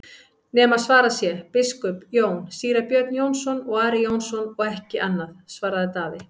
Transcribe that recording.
nema svarað sé:-Biskup Jón, Síra Björn Jónsson og Ari Jónsson og ekki annað, svaraði Daði.